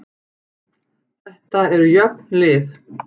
Þetta eru jöfn lið